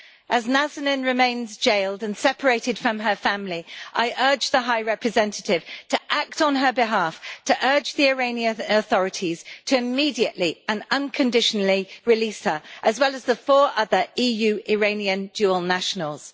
As Nazanin remains jailed and separated from her family, I urge the High Representative to act on her behalf to urge the Iranian authorities to immediately and unconditionally release her, as well as the four other EU Iranian dual nationals.